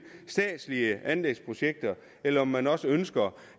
statslige anlægsprojekter eller om man også ønsker